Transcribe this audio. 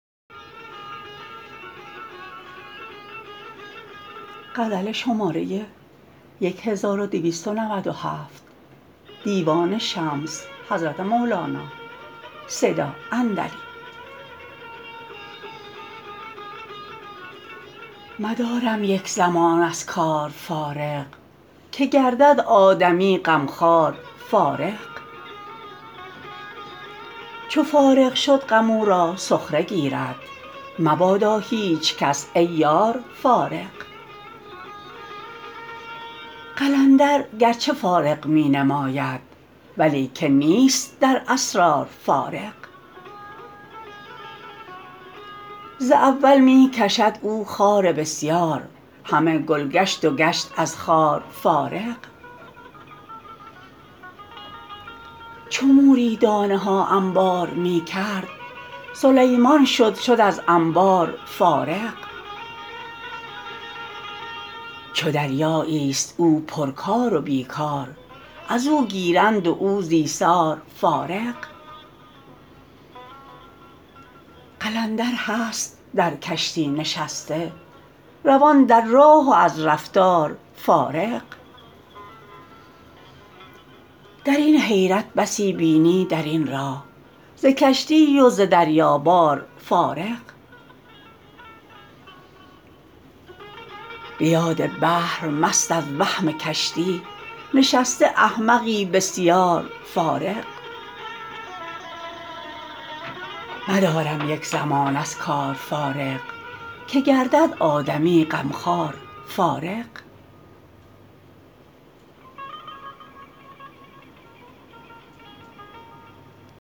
مدارم یک زمان از کار فارغ که گردد آدمی غمخوار فارغ چو فارغ شد غم او را سخره گیرد مبادا هیچ کس ای یار فارغ قلندر گرچه فارغ می نماید ولیکن نیست در اسرار فارغ ز اول می کشد او خار بسیار همه گل گشت و گشت از خار فارغ چو موری دانه ها انبار می کرد سلیمان شد شد از انبار فارغ چو دریاییست او پرکار و بی کار از او گیرند و او ز ایثار فارغ قلندر هست در کشتی نشسته روان در را و از رفتار فارغ در این حیرت بسی بینی در این راه ز کشتی و ز دریابار فارغ به یاد بحر مست از وهم کشتی نشسته احمقی بسیار فارغ